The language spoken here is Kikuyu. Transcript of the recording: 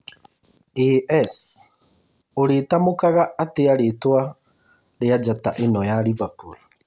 (AS) ũrĩtamũkaga atĩa rĩtwa rĩa njata ĩno ya Liverpool